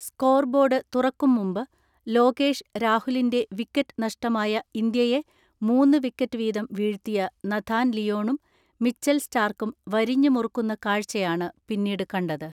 Score board തുറക്കും മുമ്പ്, ലോകേഷ് രാഹുലിന്റെ വിക്കറ്റ് നഷ്ടമായ ഇന്ത്യയെ മൂന്ന് വിക്കറ്റ് വീതം വീഴ്ത്തിയ നഥാൻ ലിയോണും മിച്ചൽ സ്റ്റാർക്കും വരിഞ്ഞ് മുറുക്കുന്ന കാഴ്ചയാണ് പിന്നീട് കണ്ടത്.